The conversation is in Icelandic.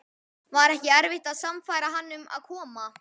Var ekki erfitt að sannfæra hann um að koma?